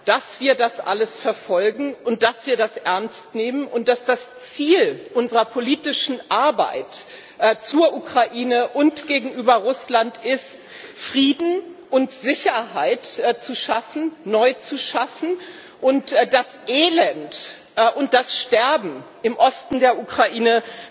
dass wir das alles verfolgen und dass wir das ernst nehmen und dass das Ziel unserer politischen Arbeit zur Ukraine und gegenüber Russland ist, Frieden und Sicherheit zu schaffen, neu zu schaffen, und das Elend und das Sterben im Osten der Ukraine